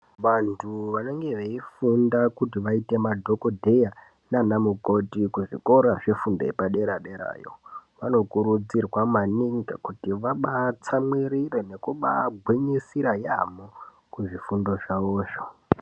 Vantu vanenge veifunda kuti vaite madhokodheya nanamukoti kuzvikora zvefundo yepadera-dera yo. Vanokurudzirwa maningi kuti vabaatsamwirire nekubaagwinyisira yampho kuzvifundo zvawozvo.